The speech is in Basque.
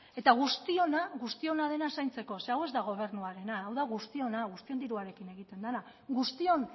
eta guztiona dena zaintzeko ze hau ez da gobernuarena hau da guztiona guztion diruarekin egiten dena guztion